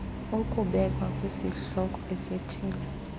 ukubekwa kwisihloko esithile